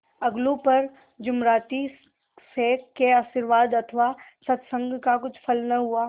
अलगू पर जुमराती शेख के आशीर्वाद अथवा सत्संग का कुछ फल न हुआ